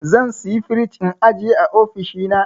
Zan saya frij in ajiye a ofishina.